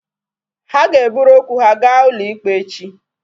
Ha ga-eburu okwu ha gaa ụlọ ikpe echi